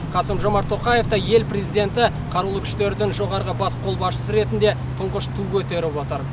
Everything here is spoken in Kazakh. қасым жомарт тоқаев та ел президенті қарулы күштердің жоғарғы бас қолбасшысы ретінде тұңғыш ту көтеріп отыр